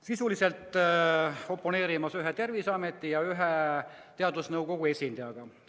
Sisuliselt oponeerisin ühe Terviseameti ja ühe teadusnõukoja esindajaga.